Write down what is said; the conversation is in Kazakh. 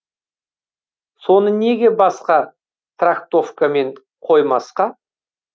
соны неге басқа трактовкамен қоймасқа